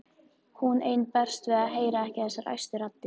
Hún ein berst við að heyra ekki þessar æstu raddir.